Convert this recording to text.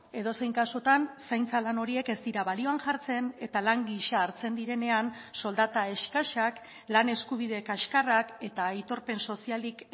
edozein kasutan zaintza lan horiek ez dira balioan jartzen eta lan gisa hartzen direnean soldata eskasak lan eskubide kaxkarrak eta aitorpen sozialik